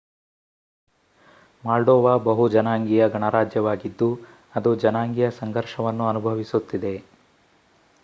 moldova ಬಹು-ಜನಾಂಗೀಯ ಗಣರಾಜ್ಯವಾಗಿದ್ದು ಅದು ಜನಾಂಗೀಯ ಸಂಘರ್ಷವನ್ನು ಅನುಭವಿಸುತ್ತಿದೆ